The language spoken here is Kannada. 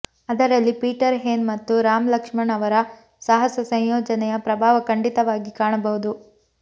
ಅದರಲ್ಲಿ ಪೀಟರ್ ಹೇನ್ ಮತ್ತು ರಾಮ್ ಲಕ್ಷ್ಮಣ್ ಅವರ ಸಾಹಸ ಸಂಯೋಜನೆಯ ಪ್ರಭಾವ ಖಂಡಿತವಾಗಿ ಕಾಣಬಹುದು